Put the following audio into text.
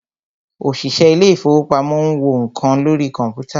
òṣìṣẹ́ ilé ìfọwọ́pamo ń wo nǹkan lórí kọ̀mpútà.